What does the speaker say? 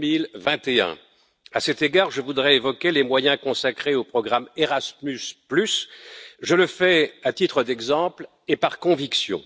2021. À cet égard, je voudrais évoquer les moyens consacrés au programme Erasmus, je le fais à titre d'exemple et par conviction.